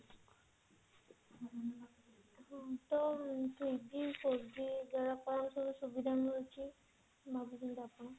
ତ three G four G ଦ୍ଵାରା କଣ ସବୁ ସୁବିଧା ମିଳୁଛି ଭାବୁଛନ୍ତି ଆପଣ